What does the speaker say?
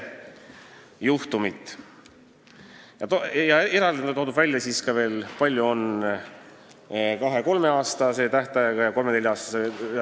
Eraldi on veel välja toodud, kui palju on neid juhtumeid, mis on menetluses olnud kaks-kolm aastat ja kolm-neli aastat.